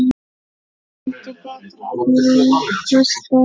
Finndu betri kosti!